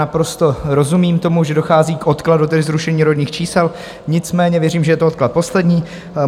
Naprosto rozumím tomu, že dochází k odkladu, tedy zrušení rodných čísel, nicméně věřím, že je to odklad poslední.